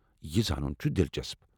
یہ زانُن چُھ دِلچسپ ۔